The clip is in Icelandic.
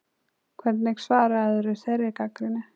Hvernig svararðu þeirri gagnrýni